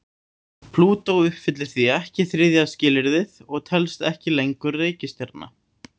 Plútó uppfyllir því ekki þriðja skilyrðið og telst ekki lengur reikistjarna.